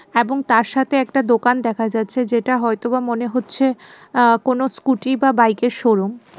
এবং তার সাথে একটা দোকান দেখা যাচ্ছে যেটা হয়তোবা মনে হচ্ছে আ্য কোনও স্কুটি বা বাইকের শোরুম .